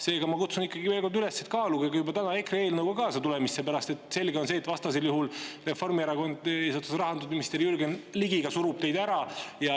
Seega ma kutsun veel kord üles, et kaaluge juba täna EKRE eelnõuga kaasatulemist, sellepärast et selge on see, et vastasel juhul Reformierakond eesotsas rahandusminister Jürgen Ligiga surub teid ära.